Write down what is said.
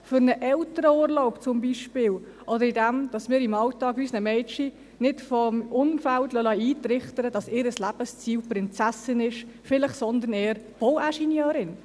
für einen Elternurlaub zum Beispiel, oder indem wir unseren Mädchen im Alltag vom Umfeld nicht eintrichtern lassen, dass ihr Lebensziel Prinzessin sei, sondern vielleicht eher Bauingenieurin.